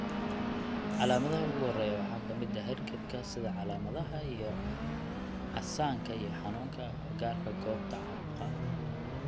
Calaamadaha ugu horreeya waxaa ka mid ah hargabka sida calaamadaha iyo casaanka iyo xanuunka agagaarka goobta caabuqa.